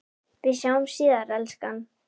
Við sjáumst síðar, elskan.